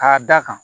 K'a da kan